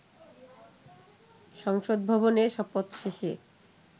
সংসদ ভবনে, শপথ শেষে